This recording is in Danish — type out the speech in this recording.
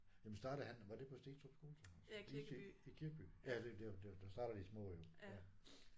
Jamen startede han var det på Stenstrup skole så? Is i i Kirkeby ja det er jo der der der starter de små jo ja